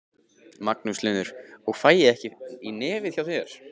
Magnús Hlynur: Og fæ ég ekki í nefið hjá þér?